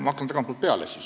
Ma hakkan tagantpoolt peale.